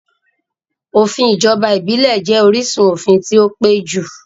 Òfin ìjọba ìbílẹ̀ jẹ́ orísun òfin tí ó pẹ́ jù